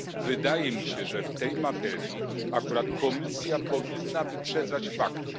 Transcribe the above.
Wydaje mi się, że w tej materii akurat Komisja powinna wyprzedzać fakty.